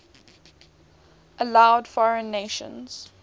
allowed foreign nations